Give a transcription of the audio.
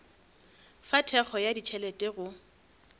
fa thekgo ya ditšhelete go